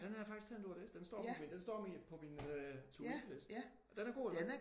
Den har jeg faktisk tænkt på at læse. Den står på min den står på min øh to do liste. Den er god eller hvad?